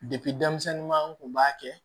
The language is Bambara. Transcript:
denmisɛnninman an kun b'a kɛ